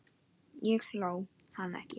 Ég hló, hann ekki.